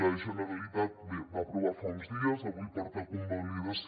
la generalitat va aprovar fa uns dies i avui porta a convalidació